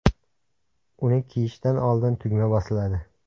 Uni kiyishdan oldin tugma bosiladi.